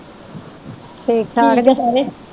ਠੀਕ ਠਾਕ ਜੇ ਸਾਰੇ।